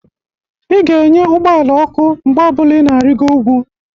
Ị ga-enye ụgbọala ọkụ mgbe ọ bụla ị na-arigo ukwu.